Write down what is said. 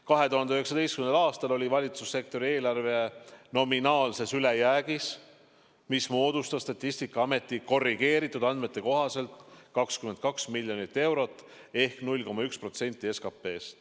2019. aastal oli valitsussektori eelarve nominaalses ülejäägis, mis moodustas Statistikaameti korrigeeritud andmete kohaselt 22 miljonit eurot ehk 0,1% SKP-st.